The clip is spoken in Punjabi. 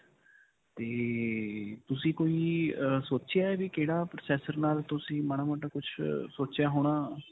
'ਤੇ ਤੁਸੀਂ ਕੋਈ ਅਅ ਸੋਚਿਆ ਹੈ ਵੀ ਕਿਹੜਾ processor ਨਾਲ ਤੁਸੀਂ ਮਾੜਾ-ਮੋਟਾ ਕੁਝ ਸੋਚਿਆ ਹੋਣਾ.